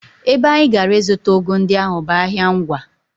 Ebe anyị gara ịzụta ụgụ ndị ahụ bụ ahịa Ngwá